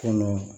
Kɔnɔ